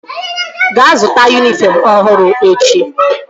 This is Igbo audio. Gaa zụta yunifọm ọhụrụ echi!